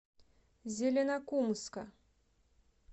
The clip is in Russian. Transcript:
зеленокумска